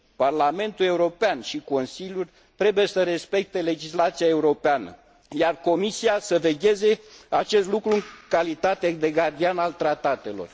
Parlamentul European și Consiliul trebuie să respecte legislația europeană, iar Comisia să vegheze la acest lucru în calitate de gardian al tratatelor.